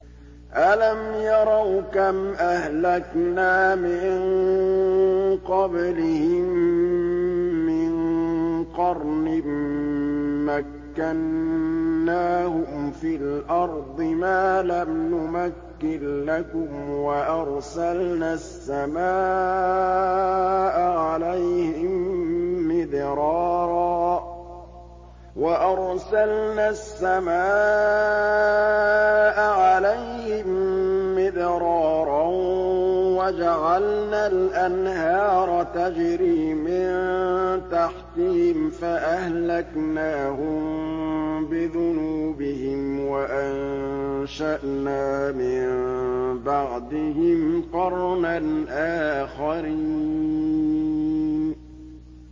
أَلَمْ يَرَوْا كَمْ أَهْلَكْنَا مِن قَبْلِهِم مِّن قَرْنٍ مَّكَّنَّاهُمْ فِي الْأَرْضِ مَا لَمْ نُمَكِّن لَّكُمْ وَأَرْسَلْنَا السَّمَاءَ عَلَيْهِم مِّدْرَارًا وَجَعَلْنَا الْأَنْهَارَ تَجْرِي مِن تَحْتِهِمْ فَأَهْلَكْنَاهُم بِذُنُوبِهِمْ وَأَنشَأْنَا مِن بَعْدِهِمْ قَرْنًا آخَرِينَ